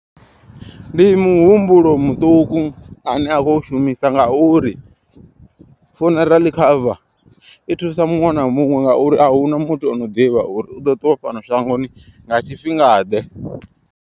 Ndi muhumbulo muṱuku ane a khou shumisa ngauri. Funeral cover i thusa muṅwe na muṅwe ngauri ahuna muthu ano ḓivha uri u ḓo ṱuwa fhano shangoni nga tshifhinga ḓe.